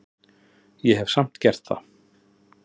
Ég hef samt gert það.